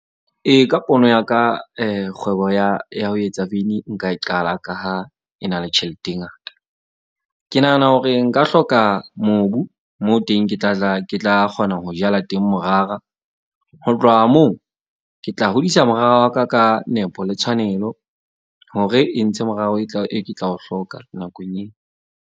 Ee, ka pono ya ka kgwebo ya ho etsa veini nka e qala ka ha e na le tjhelete e ngata. Ke nahana hore nka hloka mobu moo teng ke tla tla ke tla kgona ho jala teng morara. Ho tloha moo ke tla hodisa morara wa ka ka nepo, le tshwanelo hore e ntshe morao, e ke tla o hloka nakong .